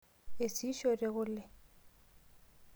Eisishote kule.